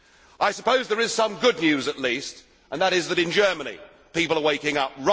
I suppose there is some good news at least, and that is that in Germany people are waking up